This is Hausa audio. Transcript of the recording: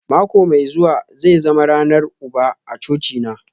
Mako mai zuwa zai zama ranar uba a cocina